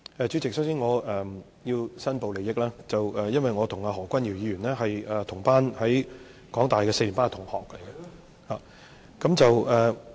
主席，首先，我想申報利益，我跟何君堯議員是香港大學四年班同班同學。